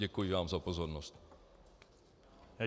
Děkuji vám za pozornost.